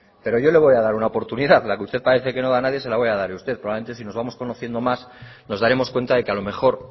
pero yo le voy a dar una oportunidad la que usted parece que no da a nadie se la voy a dar probablemente si nos vamos conociendo más nos daremos cuenta de que a lo mejor